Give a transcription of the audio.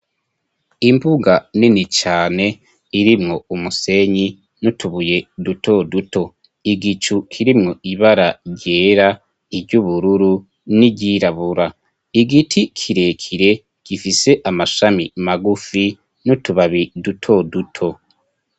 Imbuga nini cane irimwo umusenyi nutubuye dutoduto igicu kirimwo ibara ryera iryoubururu n'iryirabura igiti kirekire gifise amashami magufi nutubabi duto duto.